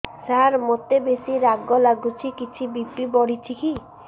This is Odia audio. ସାର ମୋତେ ବେସି ରାଗ ଲାଗୁଚି କିଛି ବି.ପି ବଢ଼ିଚି କି